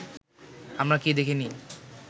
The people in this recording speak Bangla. আমরা কি দেখিনি